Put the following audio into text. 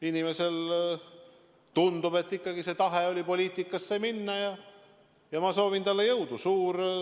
Inimesel, tundub, oli ikkagi see tahe poliitikasse minna ja ma soovin talle jõudu.